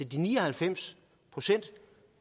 de ni og halvfems procent